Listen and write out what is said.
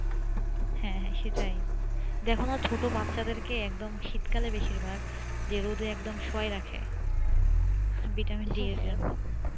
হ্যাঁ হ্যাঁ সেটাই দেখো না ছোট বাচ্চা দের কে একদম শীতকালে বেশিরভাগ যে রোদে একদম শুয়াই রাখে vitamin-D এর জন্যে